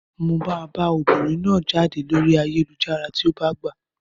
Mo máa bá obìnrin náà jáde lórí ayélujára tí ó bá gbà.